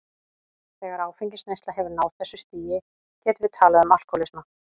Þegar áfengisneysla hefur náð þessu stigi getum við talað um alkohólisma.